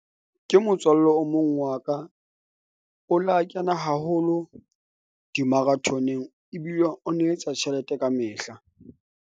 Ke motswalle o mong wa ka o la kena haholo, di-marathoneng ebile o na etsa tjhelete kamehla.